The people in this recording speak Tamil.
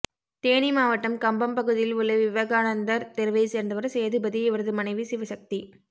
தேனி மாவட்டம் கம்பம் பகுதியில் உள்ள விவேகானந்தர் தெருவைச் சேர்ந்தவர் சேதுபதி இவரது மனைவி சிவசக்தி